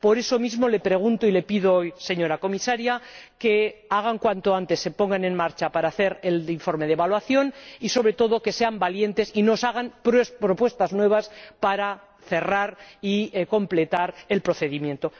Por eso mismo, le pregunto y le pido, señora Comisaria, que, cuanto antes, se pongan en marcha para hacer el informe de evaluación y, sobre todo, que sean valientes y nos hagan propuestas nuevas para cerrar y completar el procedimiento.